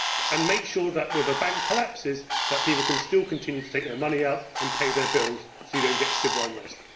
Let us make sure that when a bank collapses, people can still continue to take their money out and pay their bills so you do not get civil unrest.